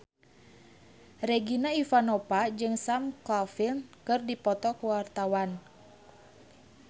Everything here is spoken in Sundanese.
Regina Ivanova jeung Sam Claflin keur dipoto ku wartawan